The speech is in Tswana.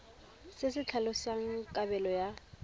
se se tlhalosang kabelo ya